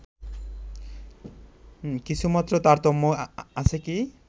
কিছুমাত্র তারতম্য আছে কি